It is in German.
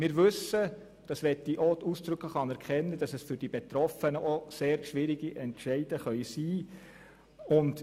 Wir wissen – ich möchte das ausdrücklich anerkennen –, dass diese auch für die Betroffenen sehr schwierig sein können.